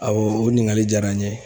A o ɲininkali jara n ye.